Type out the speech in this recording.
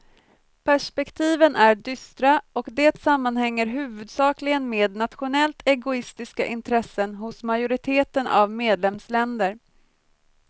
Perspektiven är dystra och det sammanhänger huvudsakligen med nationellt egoistiska intressen hos majoriteten av medlemsländer.